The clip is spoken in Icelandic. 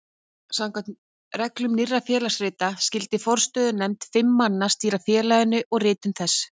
Samkvæmt reglum Nýrra félagsrita skyldi forstöðunefnd fimm manna stýra félaginu og ritum þess.